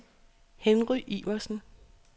Henry Iversen